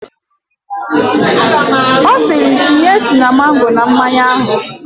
Ọ sịịrị, tinye sinamọn na mmanya ahụ!